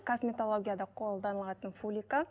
косметологияда қолданылатын фулика